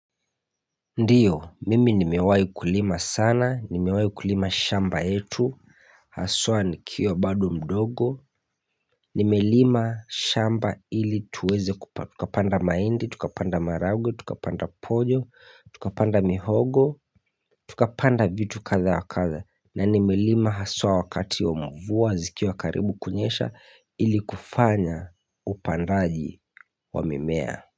Ndiyo, mimi nimewahi kulima sana, nimewahi kulima shamba yetu, haswa nikiwa bado mdogo, Nimelima shamba ili tuweze kupa, tukapanda mahindi, tukapanda maharagwe, tukapanda pojo, tukapanda mihogo Tukapanda vitu kadha wa kadha na nimelima haswa wakati wa mvua, zikiwa karibu kunyesha ili kufanya upandaji wa mimea.